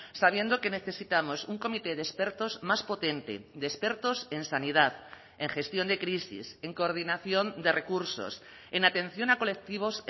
sabiendo que necesitamos un comité de expertos más potente de expertos en sanidad en gestión de crisis en coordinación de recursos en atención a colectivos